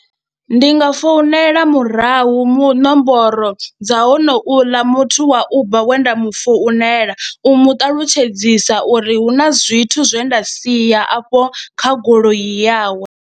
ndi nga founela murahu mu nomboro dza honouḽa muthu wa Uber we nda mu founela u mu ṱalutshedzisa uri hu na zwithu zwe nda siya afho kha goloi yawe.